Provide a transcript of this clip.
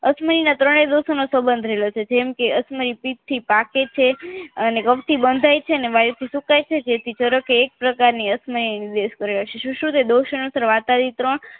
અક્ષમયીના ત્રણે દોષોના સબંધ રહેલો છે જેમકે અક્ષમયિ પિત્તથી પાકે છે અને ગઉથી બંધાય છે અને વાયુથી સુકાય છે જેથી ધારોકે એક પ્રકારની અક્ષમયી એ નિર્દેશ કર્યો છે સુ સુ કે દોષણ